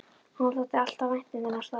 Honum þótti alltaf vænt um þennan stól.